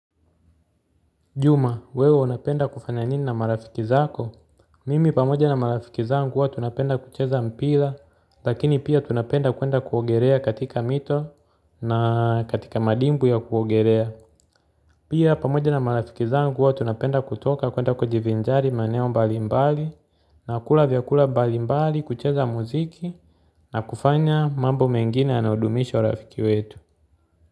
Juma, wewe unapenda kufanya nini na marafiki zako? Mimi pamoja na marafiki zangu huwa tunapenda kucheza mpila, lakini pia tunapenda kwenda kuogerea katika mito na katika madimbwi ya kuogerea. Pia pamoja na marafiki zangu huwa tunapenda kutoka kwenda kujivinjari maeneo mbalimbali na kula vyakula mbalimbali kucheza muziki na kufanya mambo mengine yanayodumisha urafiki wetu.